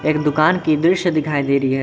ये दुकान की दृश्य दिखाई दे रही है।